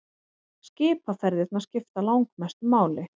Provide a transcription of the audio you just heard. Skipaferðirnar skipta langmestu máli.